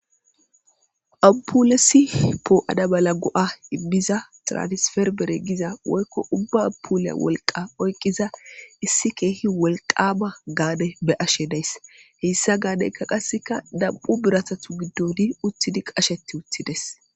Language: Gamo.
ampulesi poo7a maala go7a imiza traanisferbere giza woykko ubba abpuuleya wolqa oyqiza issi keehi wolqaba gaade be ashe dayss heyssa gaadeyka qasseka dab7u biratatu giddoni uttidi qasheti uttides